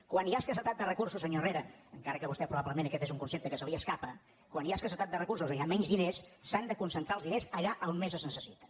quan hi ha escassedat de recursos senyor herrera encara que vostè probablement aquest és un concepte que se li escapa quan hi ha escassedat de recursos o hi ha menys diners s’han de concentrar els diners allà on més es necessiten